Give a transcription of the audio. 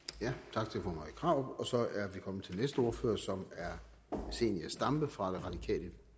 tak til fru marie krarup og så er vi kommet til den næste ordfører som er fru zenia stampe fra det radikale